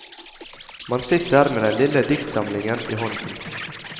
Man sitter med den lille diktsamlingen i hånden.